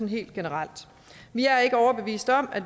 helt generelt vi er ikke overbevist om at